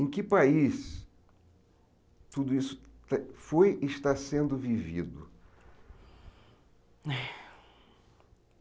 Em que país tudo isso foi e está sendo vivido? Ai